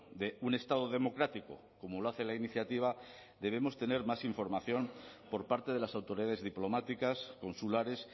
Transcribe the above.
de un estado democrático como lo hace la iniciativa debemos tener más información por parte de las autoridades diplomáticas consulares